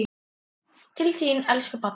Til þín, elsku pabbi.